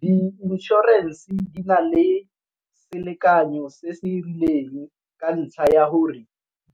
Di inšorense di na le selekanyo se se rileng ka ntlha ya gore